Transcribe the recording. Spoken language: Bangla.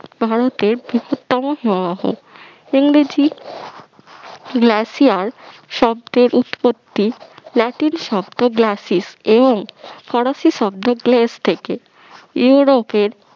ভারতের বৃহত্তম হিমবাহ ইংরেজি glacier শব্দের উৎপত্তি ল্যাটিন শব্দ গ্ল্যাসিস ফরাসি শব্দ গ্লেস থেকে ইউরোপের